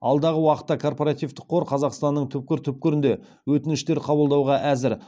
алдағы уақытта корпоративтік қор қазақстанның түкпір түкпірінен өтініштер қабылдауға әзір